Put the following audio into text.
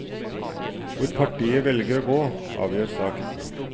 Hvor partiet velger å gå, avgjør saken.